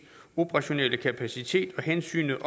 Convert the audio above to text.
operationelle kapacitet og hensynet